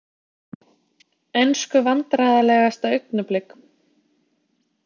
Ensku Vandræðalegasta augnablik?